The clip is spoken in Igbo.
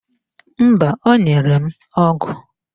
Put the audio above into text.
Mba, o nyere m ọgụ